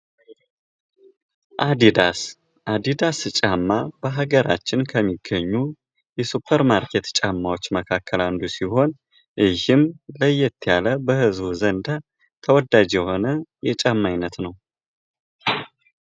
አዲዳስ አዲዳስ ጫማ በሀገራችን ከሚገኙ የሱፐር ማርኬት ጫማዎች መካከል አንዱ ሲሆን ለይዝም ለየት ያለ በዝህቡ ዘንድ ተወዳጅ የሆነ የጫማ ዓይነት ነው ::